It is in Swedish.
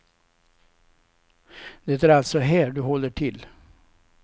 Det är alltså här du håller till.